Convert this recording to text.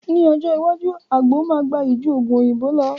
Ní ọjọ́ iwájú, àgbo máa gbayì ju Ògùn òyìnbó lọ